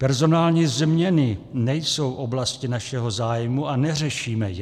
Personální změny nejsou oblasti našeho zájmu a neřešíme je.